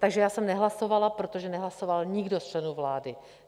Takže já jsem nehlasovala, protože nehlasoval nikdo z členů vlády.